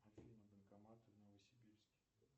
афина банкоматы в новосибирске